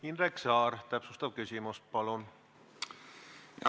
Indrek Saar, täpsustav küsimus, palun!